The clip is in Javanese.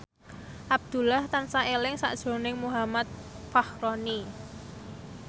Abdullah tansah eling sakjroning Muhammad Fachroni